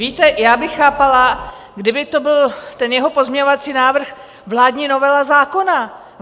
Víte, já bych chápala, kdyby to byl, ten jeho pozměňovací návrh, vládní novela zákona.